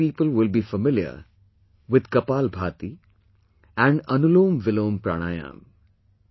Most people will be familiar with 'Kapalbhati' and 'AnulomVilom Pranayam'